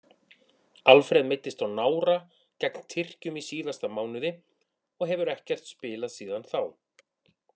Alfreð meiddist á nára gegn Tyrkjum í síðasta mánuði og hefur ekkert spilað síðan þá.